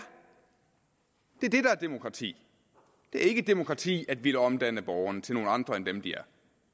demokrati det er ikke demokrati at ville omdanne borgerne til nogle andre end dem de er